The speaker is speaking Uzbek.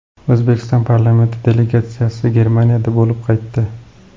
O‘zbekiston parlamenti delegatsiyasi Germaniyada bo‘lib qaytdi.